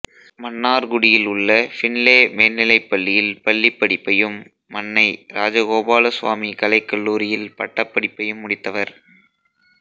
மன்னார்குடியில் உள்ள பின்லே மேல்நிலைப்பள்ளியில் பள்ளிப் படிப்பையும் மன்னை ராஜகோபால சுவாமி கலைக்கல்லூரியில் பட்டப்படிப்பையும் முடித்தவர்